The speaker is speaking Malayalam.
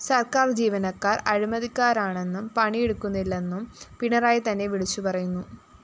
സര്‍ക്കാര്‍ ജീവനക്കാര്‍ അഴിമതിക്കാരാണെന്നും പണിയെടുക്കുന്നില്ലെന്നും പിണറായി തന്നെ വിളിച്ചു പറയുന്നു